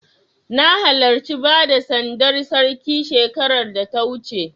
Na halarci bada sandar Sarki shekarar da ta wuce.